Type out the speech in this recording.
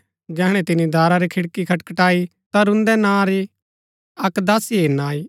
जैहणै तिनी दारा री खिड़की खटखटाई ता रूंदै नां री अक्क दासी हेरना आई